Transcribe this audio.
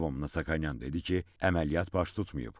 Lyobomnonyan dedi ki, əməliyyat baş tutmayıb.